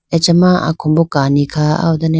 achama akombo kani kha aw done.